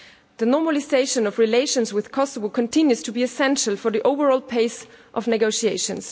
The normalisation of relations with Kosovo continues to be essential for the overall pace of negotiations.